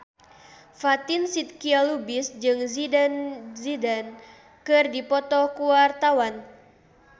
Fatin Shidqia Lubis jeung Zidane Zidane keur dipoto ku wartawan